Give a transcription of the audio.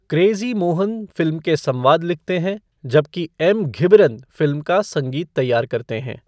Crazy Mohan film के संवाद लिखते हैं जबकि एम घिबरन फिल्म का संगीत तैयार करते हैं।